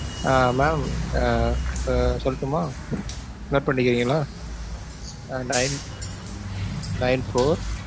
ஆஹ் mam ஆஹ் இப்ப சொல்லட்டுமா? note பண்ணிக்கிறீங்களா? ஆஹ் nine nine-four